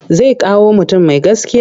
Zai kawo mutum mai gaskiya.